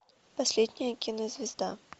последняя кинозвезда